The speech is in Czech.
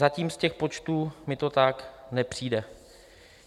Zatím z těch počtů mi to tak nepřijde.